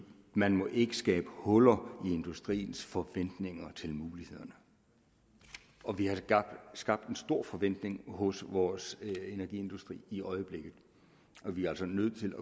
man må ikke skabe huller i industriens forventninger til mulighederne og vi har skabt en stor forventning hos vores energiindustri i øjeblikket og vi er altså nødt til